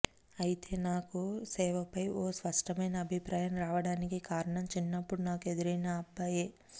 అయితే నాకు సేవపై ఓ స్పష్టమైన అభిప్రాయం రావడానికి కారణం చిన్నప్పుడు నాకు ఎదురైన ఆ అబ్బాయే